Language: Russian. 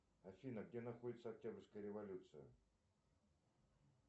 афина где находится октябрьская революция